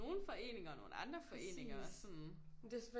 Nogen foreninger og nogle andre foreninger og sådan